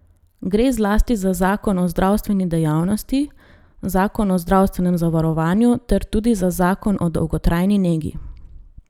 Gre zlasti za zakon o zdravstveni dejavnosti, zakon o zdravstvenem zavarovanju ter tudi za zakon o dolgotrajni negi.